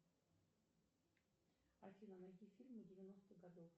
афина найди фильмы девяностых годов